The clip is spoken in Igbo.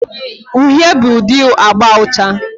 Uhie bụ ụdị agba ucha.